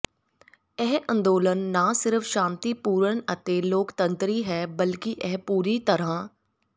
ਇਹ ਅੰਦੋਲਨ ਨਾ ਸਿਰਫ ਸ਼ਾਂਤੀਪੂਰਨ ਤੇ ਲੋਕਤੰਤਰੀ ਹੈ ਬਲਕਿ ਇਹ ਪੂਰੀ ਤਰ੍ਹਾਂ